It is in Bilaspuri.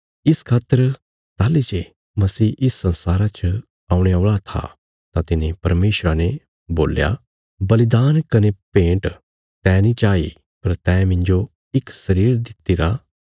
इस खातर ताहली जे मसीह इस संसारा च औणे औल़ा था तां तिने परमेशरा ने बोल्या बलिदान कने भेंट तैं नीं चाही पर तैं मिन्जो इक शरीर दित्तिरा